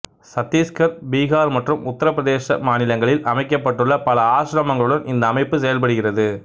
சத்தீசுகர் பீகார் மற்றும் உத்திரப்பிரதேச மாநிலங்களில் அமைக்கப்பட்டுள்ள பல ஆசிரமங்களுடன் இந்த அமைப்பு செயல்படுகிறது